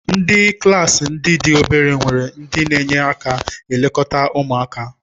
Ndị klaasị ndị dị obere nwere ndị na-enye aka na-elekọta ụmụaka.